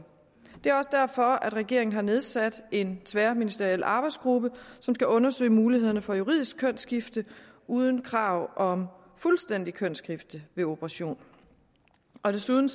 det er også derfor regeringen har nedsat en tværministeriel arbejdsgruppe som skal undersøge mulighederne for juridisk kønsskifte uden krav om fuldstændigt kønsskifte ved operation desuden